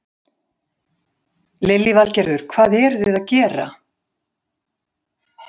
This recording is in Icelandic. Lillý Valgerður: Hvað eru þið að gera?